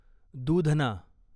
दूधना